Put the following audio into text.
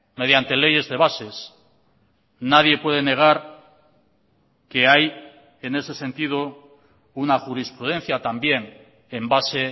mediante leyes de bases nadie puede negar que hay en ese sentido una jurisprudencia también en base